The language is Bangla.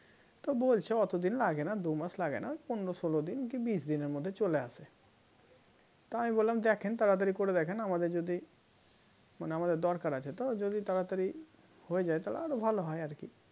তো বলছে অতদিন লাগে না দুমাস লাগে না পনের ষোলো দিন কি বিশ দিনের মধ্যে চলে আসে তা আমি বললাম দেখেন তাড়াতাড়ি করে দেখেন আমাদের যদি মানে আমাদের দরকার আছে তো যদি তাড়াতাড়ি হয়ে যায় তাহলে আরো ভালো হয় আর কি